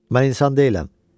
Mən insan deyiləm.